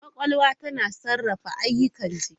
Kwakwalwa tana sarrafa ayyukan jiki.